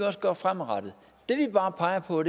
også gøre fremadrettet det vi bare peger på